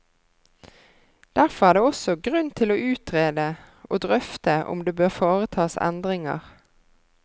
Derfor er det også grunn til å utrede og drøfte om det bør foretas endringer.